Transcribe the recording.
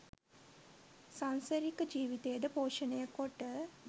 සංසරික ජීවිතය ද පෝෂණය කොට